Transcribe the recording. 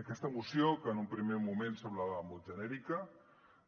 aquesta moció que en un primer moment semblava molt genèrica